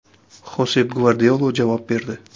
Xosep Gvardiola javob berdi.